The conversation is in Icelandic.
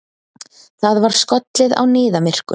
Það var skollið á niðamyrkur.